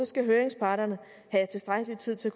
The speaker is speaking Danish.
skal høringsparterne have tilstrækkelig tid til